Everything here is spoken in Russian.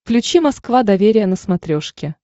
включи москва доверие на смотрешке